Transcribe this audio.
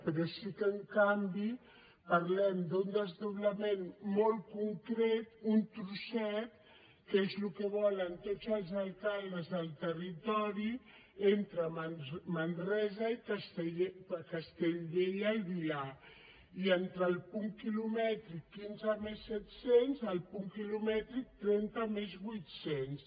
però sí que en canvi parlem d’un desdoblament molt concret un trosset que és el que volen tots els alcaldes del territori entre manresa i castellbell i el vilar i entre el punt quilomètric quinze més set cents i el punt quilomètric trenta més vuit cents